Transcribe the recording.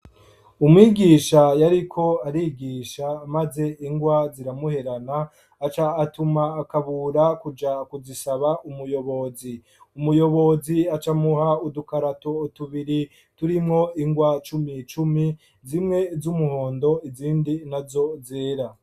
Umwigisha yariko arigisha, maze ingwa ziramuherana aca atuma Kabura kuja kuzisaba umuyobozi. Umuyobozi aca amuha udukarato tubiri turimwo ingwa cumi cumi zimwe z'umuhondo izindi nazo zera.